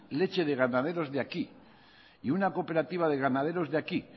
leche de ganaderos de aquí y una cooperativa de ganaderos de aquí